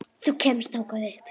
Þú kemst þangað upp.